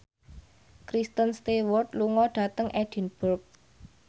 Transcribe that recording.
Kristen Stewart lunga dhateng Edinburgh